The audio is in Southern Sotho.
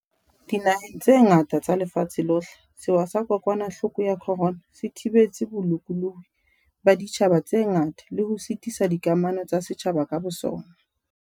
Dinaheng tse ngata tsa lefatshe lohle, sewa sa kokwanahloko ya corona se thibetse bolokolohi ba ditjhaba tse ngata le ho sitisa dikamano tsa setjhaba ka bosona.